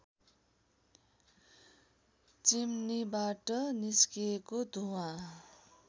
चिम्नीबाट निस्किएको धुवाँ